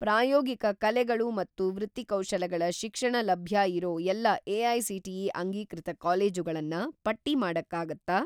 ಪ್ರಾಯೋಗಿಕ ಕಲೆಗಳು ಮತ್ತು ವೃತ್ತಿಕೌಶಲಗಳ ಶಿಕ್ಷಣ ಲಭ್ಯ ಇರೋ ಎಲ್ಲಾ ಎ.ಐ.ಸಿ.ಟಿ.ಇ. ಅಂಗೀಕೃತ ಕಾಲೇಜುಗಳನ್ನ ಪಟ್ಟಿ ಮಾಡಕ್ಕಾಗತ್ತಾ?